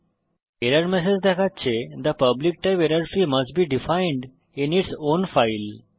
এবং error message দেখাচ্ছে the public type error free must be defined in its own file